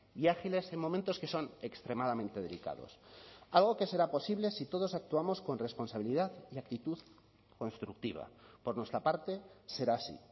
y ágiles en momentos que son extremadamente delicados algo que será posible si todos actuamos con responsabilidad y actitud constructiva por nuestra parte será así